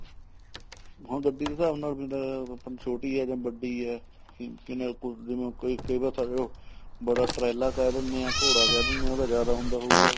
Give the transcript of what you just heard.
ਹਾਂ ਗੱਡੀ ਦੇ ਹਿਸਾਬ ਨਾਲ ਵੀ ਹੁੰਦਾ ਛੋਟੀ ਹੈ ਜਾਂ ਵੱਡੀ ਹੈ ਜਿਵੇਂ ਹੁਣ ਕਈ ਵਾਰ ਬੜਾ ਟਰਾਲਾ ਕਹਿ ਦਿੰਨੇ ਆ ਘੋੜਾ ਕਹਿ ਦਿਨੇ ਹਾਂ ਉਹਨਾ ਦਾ ਜਿਆਦਾ ਹੁੰਦਾ ਹੋਊਗਾ